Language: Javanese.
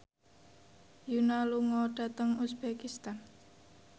Yoona lunga dhateng uzbekistan